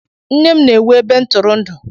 Nne m na-ewu ebe ntụrụndụ.